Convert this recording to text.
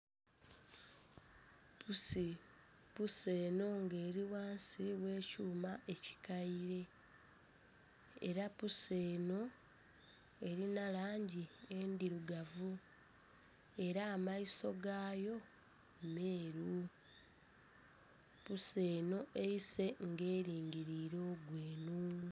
Puusi, puusi eno nga eri ghansi ogh'ekyuma ekikaire era puusi eno erina langi endhirugavu era amaiso gayo meeru, puusi eno eise nga erigirire ogweno.